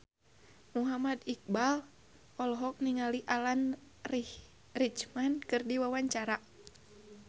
Muhammad Iqbal olohok ningali Alan Rickman keur diwawancara